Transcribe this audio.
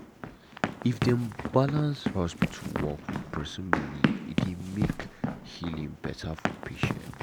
uhmm if dem balance hospital work with person belief e dey make healing better for patient.